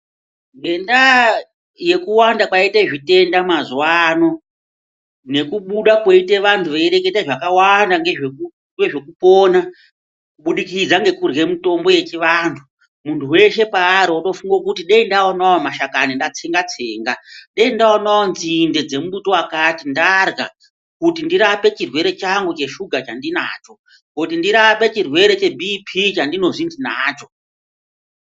Ngendaa yekuwanda kwaita zvitenda mazuwano, nekubuda kwoite vantu veireketa zvakawanda ngezvekupona kubidikidza nekurye mutombo yechivanhu, muntu wese paari otofunga kuti dei ndaonawo mashakani ndatsengatsenga, dei ndaonawo nzinde dzemumbuti wakati ndarya kuti ndirape chirwere changu cheshuga chandinacho, kuti ndirape chirwere cheBP chandinonzi ndinacho.